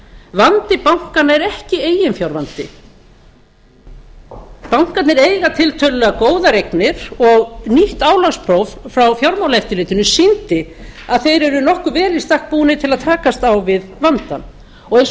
vandi bankanna er ekki eiginfjárvandi bankarnir eiga tiltölulega góðar eignir og nýtt álagspróf frá fjármálaeftirlitinu sýndi að þeir eru nokkuð vel í stakk búnir til að takast á við vandann og eins og